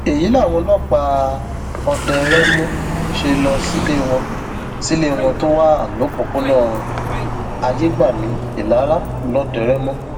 èyí làwọn ọlọpàá ọdẹrémó ṣe lọ sílé wọn sílé wọn tó wà lọpọnà ayégbàmí ìlara lọdẹrémó